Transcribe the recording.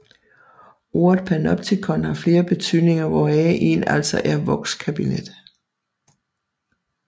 Ordet panoptikon har flere betydninger hvoraf en altså er vokskabinet